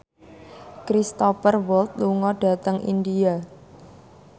Cristhoper Waltz lunga dhateng India